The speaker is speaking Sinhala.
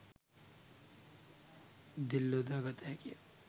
දෙල් යොදා ගත හැකිය